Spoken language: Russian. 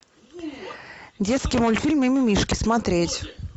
детский мультфильм мимимишки смотреть